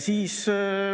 Nii.